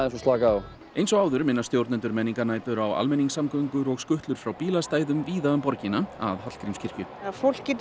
og slakað á eins og áður minna stjórnendur menningarnætur á almenningssamgöngur og skutlur frá bílastæðum víða um borgina að Hallgrímskirkju fólk getur